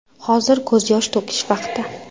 Hozir ko‘z yosh to‘kish vaqti.